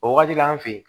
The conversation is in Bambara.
O wagati la an fe yen